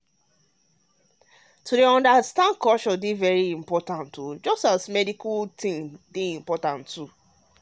um understanding culture dey very important same as doing correct medical doing correct medical job.